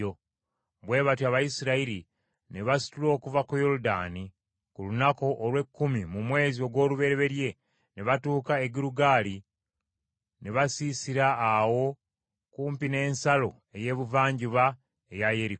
Bwe batyo Abayisirayiri ne basitula okuva ku Yoludaani ku lunaku olw’ekkumi mu mwezi ogw’olubereberye ne batuuka e Girugaali ne basiisira awo kumpi n’ensalo ey’ebuvanjuba eya Yeriko.